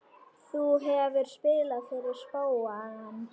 Þú hefur spilað fyrir spóann?